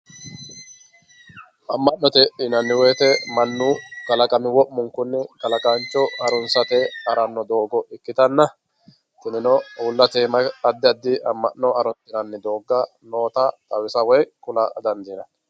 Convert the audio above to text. amma'note yinanni woyte mannu kalaqami wo'munkunni kalaqaancho harunsate haranno doogo ikkitanna kunino uullate aana addi addi amma'no harunsinanni doogga noota xawisa woy kula dandiinanni